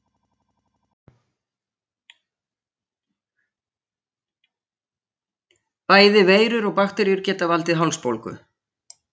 Bæði veirur og bakteríur geta valdið hálsbólgu.